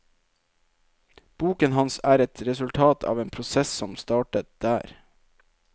Boken hans er et resultat av en prosess som startet der.